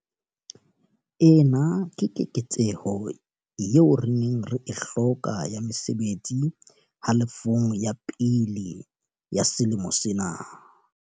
Ena ke keketseho eo re neng re e hloka ya mesebetsi halofong ya pele ya selemo sena.